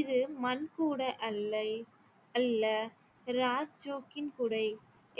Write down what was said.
இது மண் கூடை அல்லை அல்ல ராச்ஜோக்கின் கூடை